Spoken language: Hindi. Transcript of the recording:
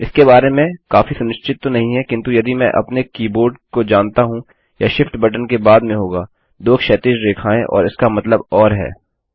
इसके बारे में काफी सुनिश्चित तो नहीं है किन्तु यदि मैं अपने कीबोर्ड को जानता हूँ यह शिफ्ट बटन के बाद में होगा 2 क्षैतिज रेखाएं और इसका मतलब ओर है